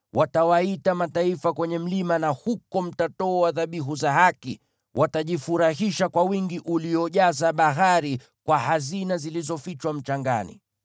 Watawaita mataifa kwenye mlima, na huko mtatoa dhabihu za haki; watajifurahisha kwa wingi uliojaza bahari, kwa hazina zilizofichwa mchangani.”